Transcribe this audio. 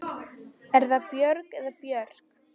Er það Björg eða Björk?